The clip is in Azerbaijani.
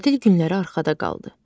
Tətil günləri arxada qaldı.